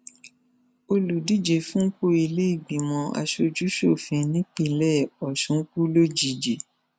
olùdíje fúnpọ ìlèégbìmọ asojúṣòfin nípínlẹ ọsùn kú lójijì